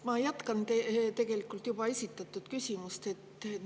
Ma tegelikult juba esitatud küsimust.